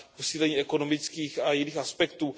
posílení ekonomických a jiných aspektů.